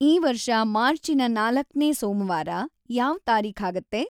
ಈ ವರ್ಷ ಮಾರ್ಚಿನ ನಾಲಕ್ನೇ ಸೋಮವಾರ ಯಾವ್‌ ತಾರೀಖಾಗತ್ತೆ